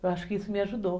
Eu acho que isso me ajudou.